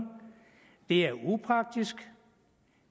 det er upraktisk